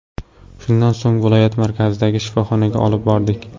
Shundan so‘ng viloyat markazidagi shifoxonaga olib bordik.